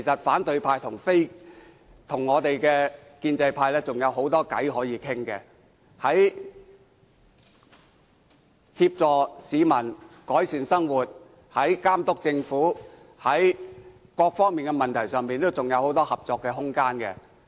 反對派和建制派日後仍有很多事情可以商量，在協助市民改善生活、監督政府等方面仍有很多合作空間。